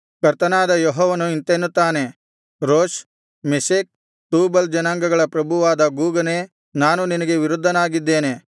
ಕರ್ತನಾದ ಯೆಹೋವನು ಇಂತೆನ್ನುತ್ತಾನೆ ರೋಷ್ ಮೆಷೆಕ್ ತೂಬಲ್ ಜನಾಂಗಗಳ ಪ್ರಭುವಾದ ಗೋಗನೇ ನಾನು ನಿನಗೆ ವಿರುದ್ಧವಾಗಿದ್ದೇನೆ